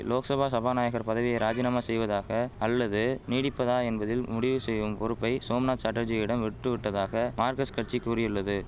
லோக்சபா சபாநாயகர் பதவியை ராஜினாமா செய்வதாக அல்லது நீடிப்பதா என்பதில் முடிவு செய்யும் பொறுப்பை சோம்நாத் சாட்டர்ஜியிடம் விட்டுவிட்டதாக மார்கஸ்ட் கட்சி கூறியுள்ளது